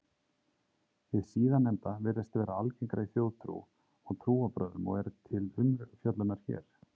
Hið síðarnefnda virðist vera algengara í þjóðtrú og trúarbrögðum og er til umfjöllunar hér.